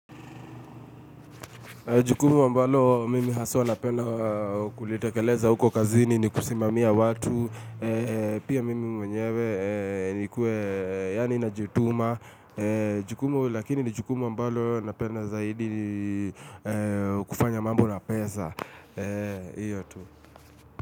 Jukumu ambalo mimi haswa napenda kulitekeleza huko kazini ni kusimamia watu. Pia mimi mwenyewe nikuwe yani najituma. Jukumu lakini ni jukumu ambalo napenda zaidi kufanya mambo na pesa.